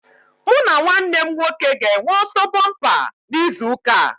Mụ na nwanne m nwoke ga-enwe ọsọ bompa na izu ụka a